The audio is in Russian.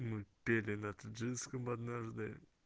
мы пели на таджикском однажды